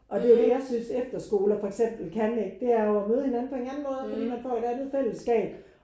Og det er jo det jeg synes efterskoler for eksempel kan ikke det er jo at møde hinanden på en anden måde og fordi man får et andet fællesskab